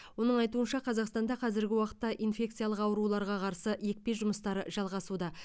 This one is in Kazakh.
оның айтуынша қазақстанда қазіргі уақытта инфекциялық ауруларға қарсы екпе жұмыстары жалғасуда